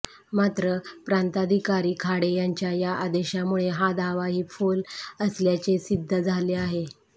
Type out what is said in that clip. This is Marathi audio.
मात्र प्रांताधिकारी खाडे यांच्या या आदेशामुळे हा दावाही फोल असल्याचे सिध्द झाले आहे